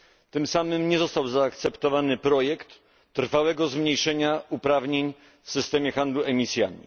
Tym samym nie został zaakceptowany projekt trwałego zmniejszenia uprawnień w systemie handlu emisjami.